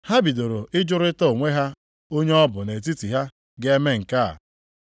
Ha bidoro ịjụrịta onwe ha onye ọ bụ nʼetiti ha ga-eme nke a.